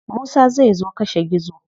Musa zai zo kashe gizo.